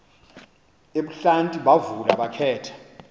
ebuhlanti bavula bakhetha